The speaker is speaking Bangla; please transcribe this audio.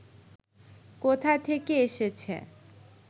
কোথা থেকে এসেছে